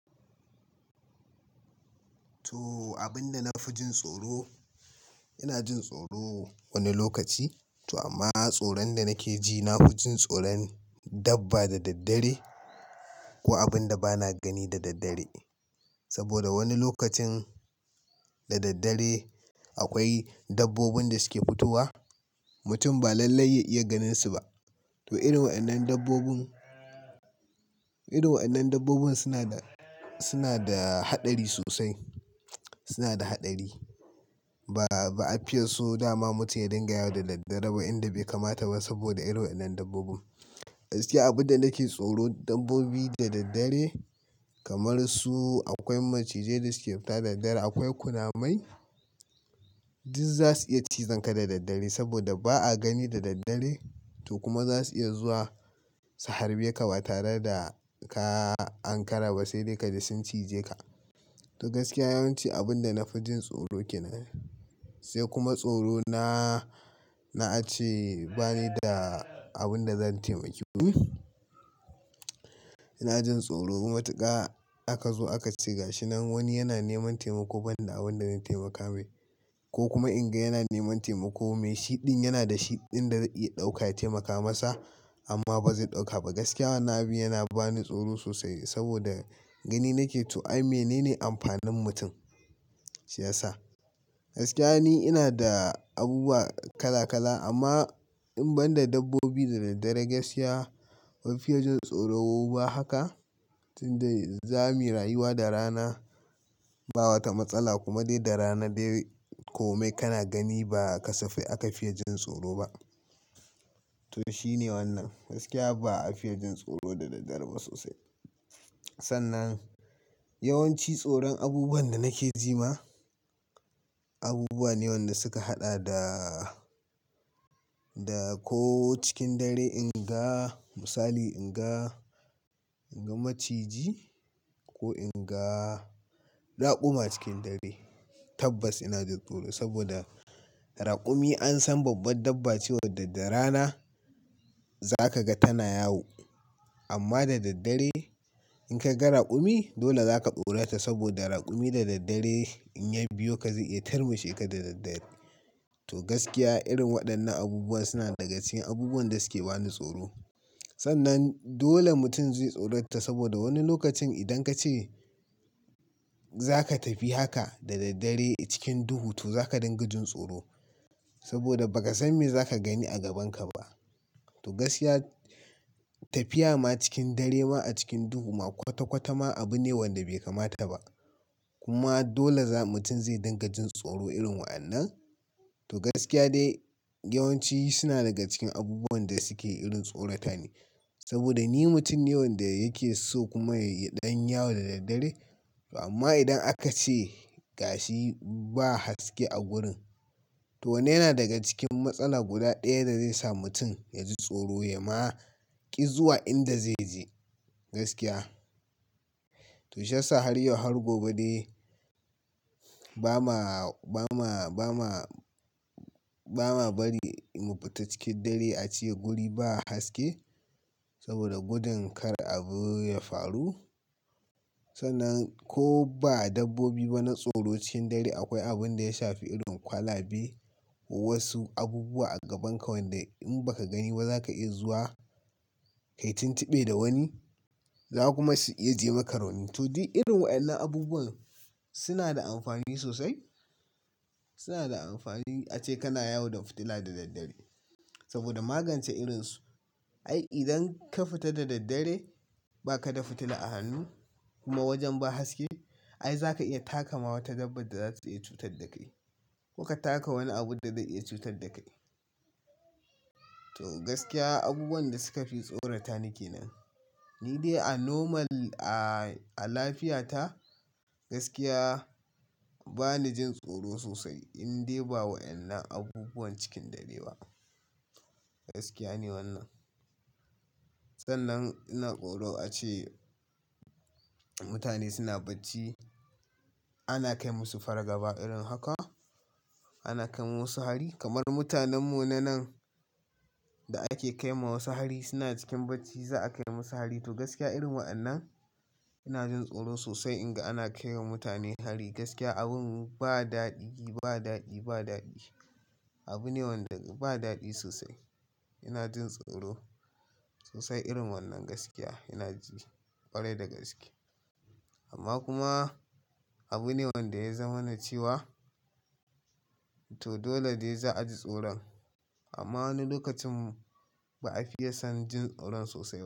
To, abin da na fi jin tsoro, ina jin tsoro wani lokaci, to amma tsoron da nake ji, na fi jin tsoron dabba da daddare, ko abin da bana gani da daddare. Saboda wani lokacin, da daddare akwai dabbobin da suke fitowa, mutum ba lallai ya iya ganinsu ba. To irin waɗannan dabbobin, irin waɗannan dabbobin suna da, suna da haɗari sosai, suna da haɗari. Ba, ba a fiya so, dama mutum ya dangayawa da daddare ba, inda bai kamata ba saboda irin waɗannan dabbobin. Gaskiya abin da nake tsoro dabbobi da daddare, kamar su akwai maciji da suke fita daddare, akwai kunamai, duk za su iya cizonka da daddare, saboda ba a gani da daddare, to kuma za su iya zuwa, su harbe ka ba tare da ka, Hankara ba sai dai ka ji sun cije ka. To gaskiya yawanci abin da na fi jin tsoro ke nan. Sai kuma tsorona na, a ce bane da abin da zan taimaki wani, ina jin tsoro matuƙa, aka zo aka ci gashi nan wani yana neman taimako ban da abin da na taimaka mai, ko kuma in ga yana neman taimako mai, shi ɗin yana da shi ɗin da ya iya ɗauka ya taimaka masa, amma ba zai ɗauka ba. Gaskiya wannan abu yana bani tsoro sosai, saboda gani nake to ai menene amfanin mutum? Shi yasa. Gaskiya ni ina da, abubuwa kala-kala amma, in ban da dabbobi da daddare gaskiya bai fiya jin tsoro ba haka, tunda za mu yi rayuwa da rana, ba wata matsala kuma dai da rana dai, komai kana gani ba ka safe aka fiya jin tsoro ba. To shine wannan. Gaskiya ba a fiya jin tsoro da daddare ba sosai. Sannan, yawanci tsoron abubuwan da nake ji ma, abubuwa ne waɗanda suka haɗa da, da ko cikin dare in ga, misali in ga, in ga maciji, ko in ga raƙuma cikin dare, tabbas ina jin tsoro saboda, raƙumi an san babban dabba cewa daddare rana, za ka ga tana yawo. Amma da daddare, in ka ga raƙumi, dole za ka tsorata saboda raƙumi da daddare in ya biyo ka zai iya tarmushe ka da daddare. To gaskiya irin waɗannan abubuwa suna daga cikin abubuwan da suke bani tsoro. Sannan, dole mutum zai tsorata saboda wani lokacin idan ka ce, za ka tafi haka da daddare cikin duhu to za ka dinga jin tsoro saboda ba ka san me za ka gani a gabanka ba. To gaskiya tafiya ma cikin dare ma a cikin duhu ma kwata-kwata ma abu ne wanda bai kamata ba. Kuma, dole za mutum zai dinga jin tsoro irin waɗannan. To gaskiya dai, yawanci suna daga cikin abubuwan da suke irin tsorata ne, saboda ni mutum ne wanda yake so kuma ya iya ɗan yawo da daddare, amma idan aka ce gashi ba haske a gurin, to wanan yana daga cikin matsala guda ɗaya da zai sa mutum, ya ji tsoro ya ma, ƙi zuwa inda zai je, gaskiya. To shi yasa har yau har gobe dai ba ma, ba ma, ba ma, ba ma bari mu fita cikin dare a ce guri ba haske, saboda gudun kar abu ya faru. Sannan, ko ba dabbobi ba na tsoro cikin dare akwai abin da ya shafi irin kwalabe, ko wasu abubuwa a gabanka wanda in ba ka gani ba za ka iya zuwa, ka yi tuntuɓe da wani, za kuma su iya jima ka rauni. To duk irin waɗannan abubuwan, suna da amfani sosai, suna da amfani a ce kana yawo da fitila da daddare, saboda magance irinsu. Ai idan ka fita da daddare, ba ka da fitila a hannu kuma wajen ba haske, ai za ka iya takama wata dabba da za su iya cutar da kai. Ko ka taka wani abu da zai iya cutar da kai. To gaskiya, abubuwan da suka fi tsorata ni ke nan. Ni dai a normal, a, a lafiya ta, gaskiya, ba ni jin tsoro sosai in dai ba wa ennan abubuwan cikin dare ba. Gaskiya ne wannan. Sannan ina tsoro a ce mutane suna bacci, ana kai musu fargaba irin haka, ana kai musu hari. Kamar mutanen mu na nan, da ake kai ma wasu hari suna cikin bacci za a kai musu hari, to gaskiya irin wa ennan ina jin tsoro sosai in ga ana kai wa mutane hari. Gaskiya abun ba daɗi, ba daɗi, ba daɗi. Abu ne wanda ba daɗi sosai. Ina jin tsoro sosai irin wannan gaskiya ina ji ƙwarai da gaske. Amma kuma, abu ne wanda ya zama na ciwa, to dole dai za a ji tsoron. Amma ni lokacin, ba a fiya son jin tsoron sosai.